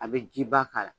A bɛ jiba k'a la